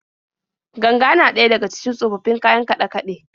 Ganga na daya daga cikin tsofaffin kayan kaɗe-kaɗe.